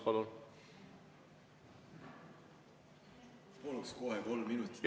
Paluks kohe kolm minutit juurde.